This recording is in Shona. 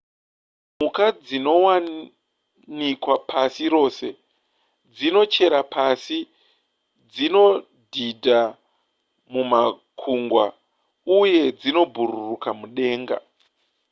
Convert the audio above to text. mhuka dzinowanikwa pasi rose dzinochera pasi dzinodhidha mumakungwa uye dzinobhururuka mudenga